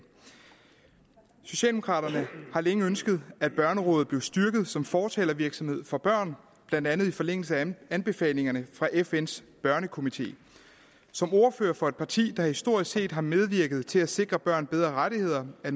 socialdemokraterne har længe ønsket at børnerådet blev styrket som fortalervirksomhed for børn blandt andet i forlængelse af anbefalingerne fra fns børnekomité som ordfører for et parti der historisk set har medvirket til at sikre børn bedre rettigheder er